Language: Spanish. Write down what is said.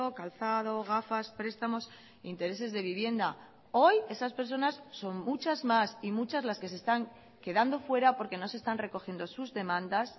calzado gafas prestamos intereses de vivienda hoy esas personas son muchas más y muchas las que se están quedando fuera porque no se están recogiendo sus demandas